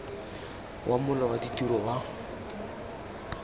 wa mola wa ditiro wa